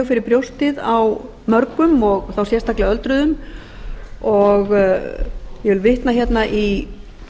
fyrir brjóstið á mörgum og þá sérstaklega öldruðum ég vil vitna hérna í